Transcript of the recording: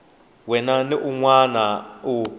wana ni un wana u